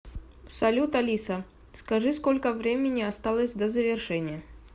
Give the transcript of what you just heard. салют алиса скажи сколько времени осталось до завершения